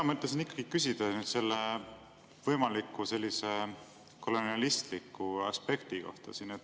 Mina mõtlesin ikkagi küsida selle võimaliku kolonialistliku aspekti kohta.